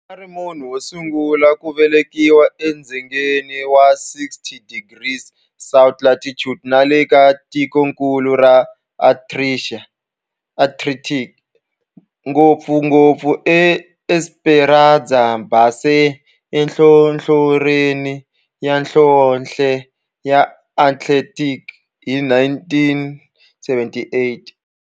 A ri munhu wosungula ku velekiwa e dzongeni wa 60 degrees south latitude nale ka tikonkulu ra Antarctic, ngopfungopfu e Esperanza Base enhlohlorhini ya nhlonhle ya Antarctic hi 1978.